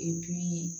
I dun ye